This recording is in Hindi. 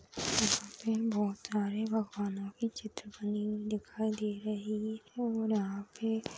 यहा पे हम बहोत सारे भगवानों की चित्र बनी हुई दिखाई दे रही है ओर यहाँ पे --